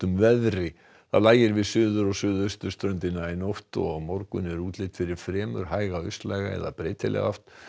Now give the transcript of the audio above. veðri það lægir við suður og suðausturströndina í nótt og á morgun er útlit fyrir fremur hæga austlæga eða breytilega átt